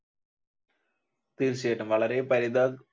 തീർച്ചയായിട്ടും വളരെ പരി